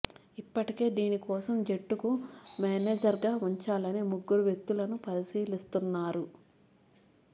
ఇప్పటికే దీని కోసం జట్టుకు మేనేజర్గా ఉంచాలని ముగ్గురు వ్యక్తులను పరిశీలిస్తున్నారు